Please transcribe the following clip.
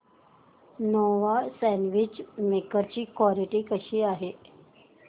Nova sandwich maker ची quality कशी आहे